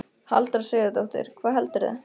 Halldóra Sigurðardóttir: Hvað heldurðu?